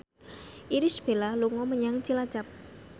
Irish Bella dolan menyang Cilacap